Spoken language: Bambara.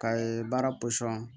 Ka ye baara